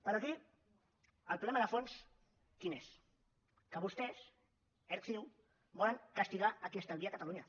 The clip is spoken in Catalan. però aquí el problema de fons quin és que vostès erc ciu volen castigar qui estalvia a catalunya